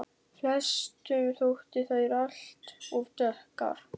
Flestum þótti þær alt of dökkar.